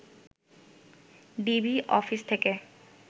DB office থেকে